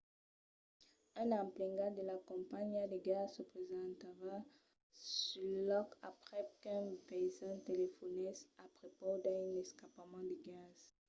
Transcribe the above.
un emplegat de la companhiá de gas se presentava sul lòc aprèp qu’un vesin telefonèsse a prepaus d’un escapament de gas